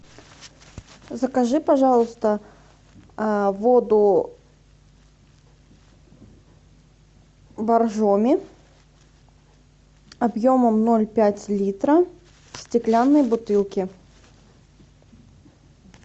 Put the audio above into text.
закажи пожалуйста воду боржоми объемом ноль пять литра в стеклянной бутылке